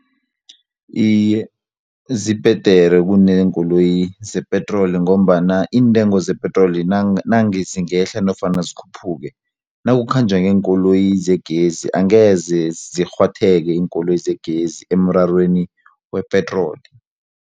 Iye, zibhedere kuneenkoloyi zepetroli ngombana iintengo zepetroli nange zingehla nofana zikhuphuke nakukhanjwa ngeenkoloyi zegezi angeze zirhwatheke iinkoloyi zegezi emrarweni wepetroli.